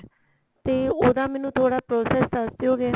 ਤੇ ਉਹਦਾ ਮੈਨੂੰ ਥੋੜਾ process ਦੱਸ ਦਿਉਗੇ